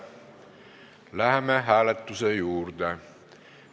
Läheme hääletuse juurde.